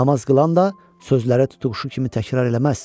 Namaz qılan da sözləri tutuquşu kimi təkrar eləməz.